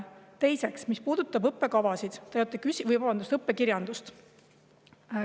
Teiseks, õppekavad või, vabandust, õppekirjandus.